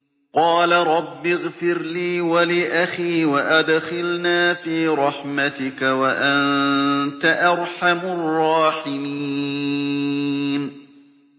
قَالَ رَبِّ اغْفِرْ لِي وَلِأَخِي وَأَدْخِلْنَا فِي رَحْمَتِكَ ۖ وَأَنتَ أَرْحَمُ الرَّاحِمِينَ